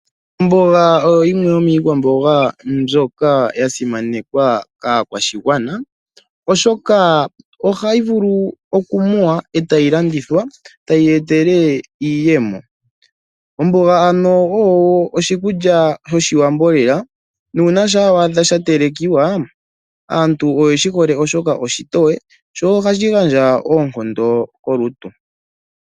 Omboga oyo yimwe yomiikwamboga ya simanekwa kaakwashigwana, oshoka ohayi vulu oku muwa e tayi landithwa, tayi ya etele iiyemo. Omboga ano oyo oshikulya shoshiwambo lela nuuna shaa wa adha sha telekwa, aantu oyeshi hole oshoka oshitoye, sho ohashi gandja oonkondo kolutu.